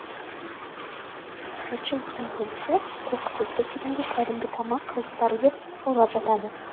жұртшылықтың көбісі қоқыс өткіз дегенге кәдімгі тамақ қалдықтары деп ойлап жатады